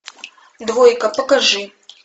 двойка покажи